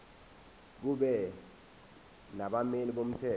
kube nabameli bomthetho